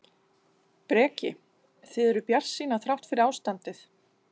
Breki: Þið eruð bjartsýnar þrátt fyrir ástandið?